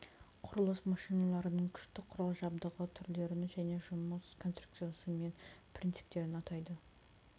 құрылыс машиналарының күшті құрал жабдығы түрлерін және жұмыс конструкциясы мен принциптерін атайды